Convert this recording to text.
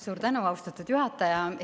Suur tänu, austatud juhataja!